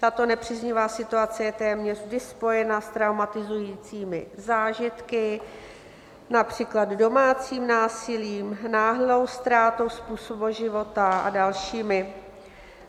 Tato nepříznivá situace je téměř vždy spojena s traumatizujícími zážitky, například domácím násilím, náhlou ztrátou způsobu života a dalšími.